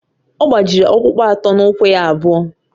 Ọ gbajiri ọkpụkpụ atọ n’ụkwụ ya abụọ